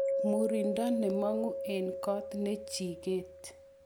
Murindo nemongu en got ne jiket.